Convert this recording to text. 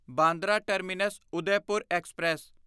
Bandra terminus Udaipur express